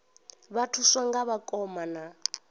vha thuswa nga vhakoma na